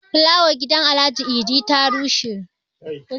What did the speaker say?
flawar gidan Alhaji Idi ta bushe